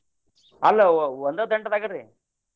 ಅಲ್ಲ ಒಂದ ದಂಟದಾಗ್ರಿ?